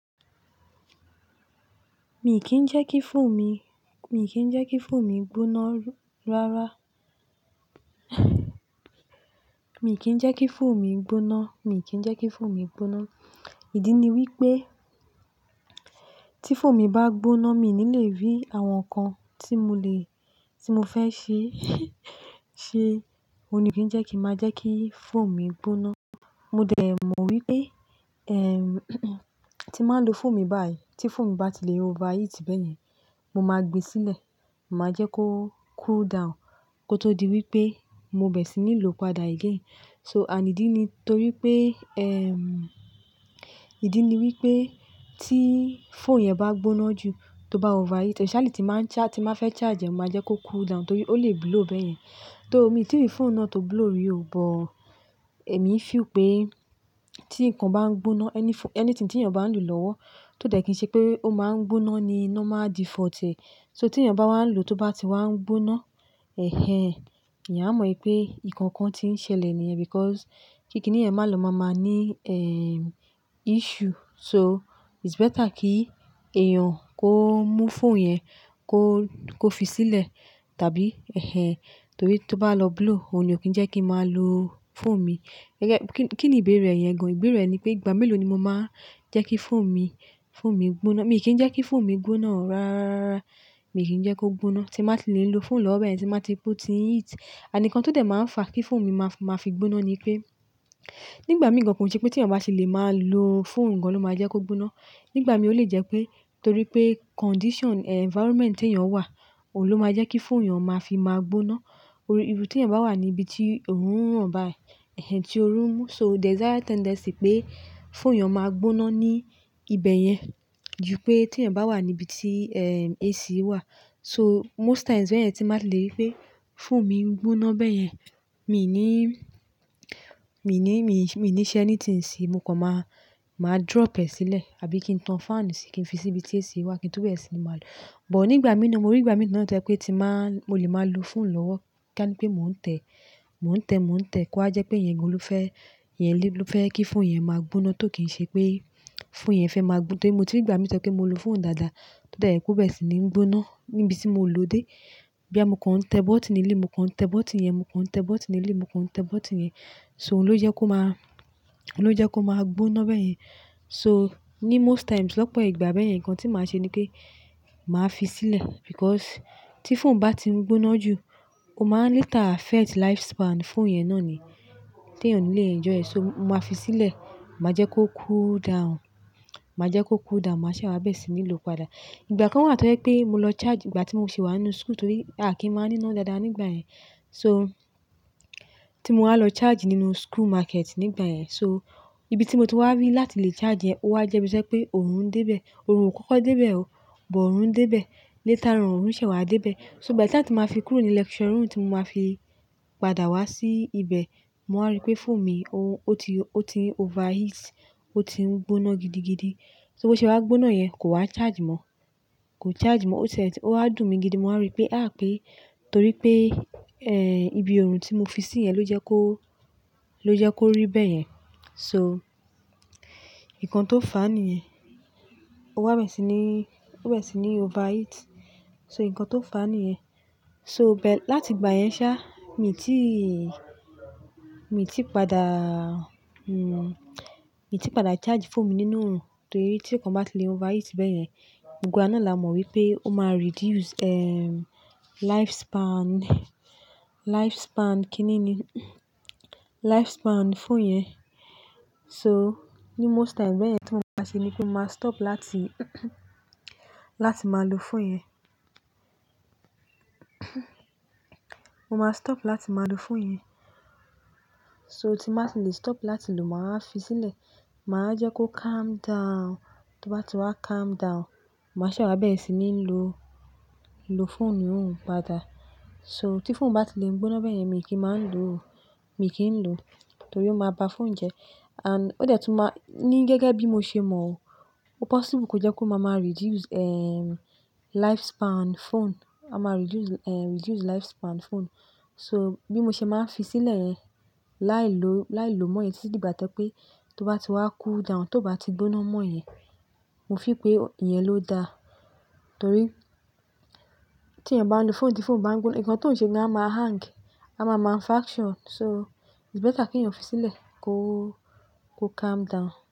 Mi kì í jẹ́ kí phone mi, mi kì í jẹ́ kí phone mi gbóná ráárá. Mi kì í jẹ́ kí phone mi gbóná, mi kì í jẹ́ kí phone mi gbóná. Ìdí ni wípé tí phone mi bá gbóná, mi ò ní lè rí àwọn nǹkan tí mo lè, tí mo fẹ́ ṣe. Ṣé òun ni kì í jẹ́ kí má jẹ́ kí phone mi gbóná. Mo dẹ̀ mọ̀ wípé, ehm, tí máa ń lo phone mi báyìí, tí phone mi bá ti lè overheat bẹ́yẹn, mo máa gbe sílẹ̀, màá jẹ́ kó cool down kó tó di wípé mo bẹ̀rẹ̀ sí ní lò ó padà again. So, ànídíní torí pé, ehm, ìdí ni wípé tí phone yẹn bá gbóná jù, tó bá overheat, especially tí máa ń charge, tí má fẹ́ charge ẹ, màá jẹ́ kó cool down torí ó lè blow bẹ́yẹn. Though mi tí rí phone náà tó blow rí o, but èmi fi ò pé tí nǹkan bá ń gbóná, any pho-- anything tí èèyàn bá ń lò lọ́wọ́ tó dẹ̀ kí í ṣe pé ó máa ń gbóná ni normal default ẹ. So tí èèyàn bá wà ń lò ó tó bá ti wà ń gbóná, ẹhẹ̀n, ìyá mọ̀ wípé nǹkan kan ti ń ṣẹlẹ̀ ní ẹyẹn because kíkiní ẹ máa lò máa máa ní, ehm, issue. So it's better kí èèyàn kó mú phone yẹn kó, kó fi sílẹ̀ tàbí, ẹhẹ̀n, torí tí ó bá lọ blow, òun ni ò kí ń jẹ́ kí n máa lo phone mi. Kí ni ìbéèrè yẹn gan? Ìbéèrè ni pé ìgbà mélòó ni mo máa jẹ́ kí phone mi, phone mi gbóná. Mi kì í jẹ́ kí phone mi gbóná rááráaraaraara Mi kì í jẹ́ kó gbóná. Tí máa ti lè ń lo phone lọ́wọ́ bẹ́yẹn tí màá ti otin heat. Àníǹkan tó dẹ̀ máa ń fa kí phone mi máa fi gbóná ni pé nígbà mìí gan kì í ṣe pé tí èèyàn bá ti lè máa lo phone gan lọ́ máa jẹ́ kó gbóná. Nígbà mìí ó lè jẹ́ pé torí pé condition, environment tí èèyàn wà, òun ló máa jẹ́ kí phone èèyàn máa fi máa gbóná. O irú tí èèyàn bá wà ní ibi tí òórùn hàn báyìí, ẹhẹ̀n, tí oru ń mú. So there's higher tendency pé phone yon máa gbóná ní ibẹ̀ yẹn ju pé tí èèyàn bá wà ní ibi tí, ehm, AC wà. So most times bẹ́ẹ̀ yẹn tí máa lè rí pé phone mi ń gbóná bẹ́yẹn, mi ò ní, mi ò ní, mi, mi ní ṣe ẹni tí ń ṣe, mo kàn máa, máa drop ẹ sílẹ̀ àbí kí n tan fan síi, kí n fi sí ibi tí AC wà kí n tó bẹ̀rẹ̀ sí ní máa lò ó. But nígbà mí náà mo rí, ìgbà mìí na toyepé tí máa, mo lè máa lo phone lọ́wọ́ kí a ní pé mò ń tẹ̀, mò ń tẹ̀, mò ń tẹ̀ kó wájẹ́ pé ìyẹn gan ló fẹ́, ìyẹn ló fẹ́ kí phone yẹn máa gbóná tó kì ń ṣe pé phone yẹn fẹ́ máa gbóná. Torí mo ti ní ìgbà mìíràn tẹ́lẹ̀ pé mo lo phone dáadáa tó dẹ̀ ye kó bẹ̀rẹ̀ sí ní ń gbóná níbi tí mo lò ó dé. Bí àmo kàn ń tẹ bọ́ọ̀tì nílé, mò ń kàn tẹ bọ́ọ̀tì yẹn, mò ń kàn tẹ bọ́ọ̀tì nílé, mò ń kàn tẹ bọ́ọ̀tì yẹn. So òun ló jẹ́ kó máa, òun ló jẹ́ kó máa gbóná bẹ́yẹn. So ní most times lọ́pọ̀ ìgbà bẹ́yẹn nǹkan tí màá ṣe ni pé màá fi sílẹ̀ because tí phone bá ti ń gbóná jù, ó máa later affect lifespan phone yẹn náà ni tí èèyàn ò ní lè enjoy ẹ̀. So màá fi sílẹ̀, màá jẹ́ kó cool down, màá jẹ́ kó cool down, màá ṣe wàbẹ̀rẹ̀ sí ní lò ó padà. Ìgbà kan wà tó yẹ́ pé mo lọ charge ìgbà tí mo sì wà nínú school torí a kì í máa ní iná dáadáa nígbà yẹn. So tí mo wá lọ charge nínú school market nígbà yẹn. So ibi tí mo ti wá rí láti lè charge ẹ, ó wá jẹ́ bíiṣẹ́ pé òórùn dé bẹ̀. Òórùn ò kọ́kọ́ dé bẹ̀ o, boo òórùn dé bẹ̀. Later on òórùn ṣẹ̀ wá dé bẹ̀. So by the time tí màá fi kúrò ní lecture room tí mo máa fi padà wá sí ibẹ̀, màá rí pé phone mi ó ti, ó ti overheat, ó ti ń gbóná gidigidi. So bó ṣe bá gbóná yẹn kò wá charge mọ́, kò charge mọ́. Ó ṣẹ-- ó há dùn mi gidigan, màá rí pé há pé torí pé, ehn, ibi òórùn tí mo fi sí yẹn ló jẹ́ kó, ló jẹ́ kó rí bẹ́yẹn. So nǹkan tó fà níyẹn. Ó wá bẹ̀rẹ̀ sí ní, ó bẹ̀rẹ̀ sí ní overheat. So nǹkan tó fà níyẹn. So bẹ́-- láti ìgbà yẹn sá mi ti, mi ti padà, hmm, mi ti padà charge phone mi nínú òórùn torí tí nkan bá ti lè overheat bẹ́yẹn, gbogbo wa náà la mọ̀ wípé ó máa reduce, ehm, lifespan, lifespan kíni ni? Lifespan phone yẹn. So ní most times bẹ́ẹ̀ yẹn tí mò máa ṣe ni pé màá stop láti, láti máa lo phone yẹn. Mo máa stop láti máa lo phone yẹn. So tí màá ti lè stop láti lò máa fi sílẹ̀. Màá jẹ́ kó calm down. Tó bá ti wá calm down, màá ṣe wa bẹ̀rẹ̀ sí ní lò, lò phone náà padà. So tí phone bá ti lè ń gbóná bẹ́yẹn mi kì í máa ń lò ó, mi kì í lò ó torí ó máa ba phone jẹ́. And ó dẹ̀ tún máa-- ní gẹ́gẹ́ bí mo ṣe mọ̀ o, ó possible kó jẹ́ kó máa máa reduce, ehm, lifespan phone. Ó máa reduce, ehn, reduce lifespan phone. So bí mo ṣe máa ń fi sílẹ̀ yẹn láì lò, láì lò mọ́ ẹ títí dìgbà tẹ́pé tó bá ti wá cool down, tó bá ti gbóná mọ́ yẹn, mo feel pé ìyẹn ló da torí tí èèyàn bá ń lo phone tí phone bá ń gbóná, nǹkan tó ń ṣe ni a máa hang, a máa máa faction. So it's better kí èèyàn fi sílẹ̀ kó, kó calm down.